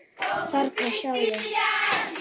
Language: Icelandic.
Þarna, sjáðu